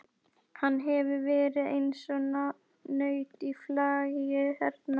Hann hefur verið eins og naut í flagi hérna.